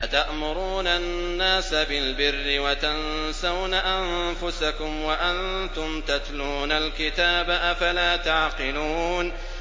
۞ أَتَأْمُرُونَ النَّاسَ بِالْبِرِّ وَتَنسَوْنَ أَنفُسَكُمْ وَأَنتُمْ تَتْلُونَ الْكِتَابَ ۚ أَفَلَا تَعْقِلُونَ